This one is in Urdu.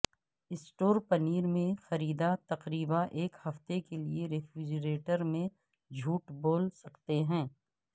سٹور پنیر میں خریدا تقریبا ایک ہفتے کے لئے ریفریجریٹر میں جھوٹ بول سکتے ہیں